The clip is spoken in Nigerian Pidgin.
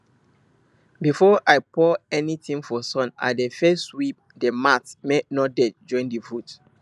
before i pour anything for sun i dey first sweep the mat make no dirt join the food